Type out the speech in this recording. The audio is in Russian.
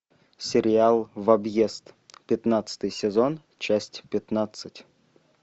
сериал в объезд пятнадцатый сезон часть пятнадцать